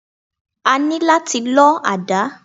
A ní láti lọ àdá.